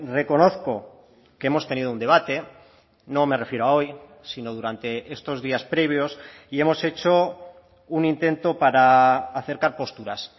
reconozco que hemos tenido un debate no me refiero a hoy sino durante estos días previos y hemos hecho un intento para acercar posturas